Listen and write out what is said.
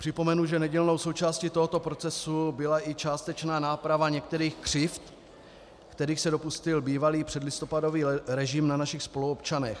Připomenu, že nedílnou součástí tohoto procesu byla i částečná náprava některých křivd, kterých se dopustil bývalý předlistopadový režim na našich spoluobčanech.